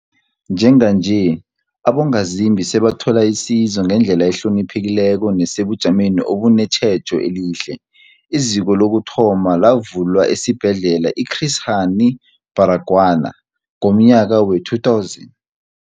Njenganje, abongazimbi sebathola isizo ngendlela ehloniphekileko nesebujameni obunetjhejo elihle. IZiko lokuthoma lavulwa esiBhedlela i-Chris Hani Baragwanath ngomnyaka we-2000.